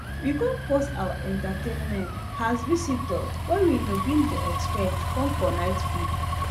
we come pause our entertainment has visitors wey we no bin dey expect come for night food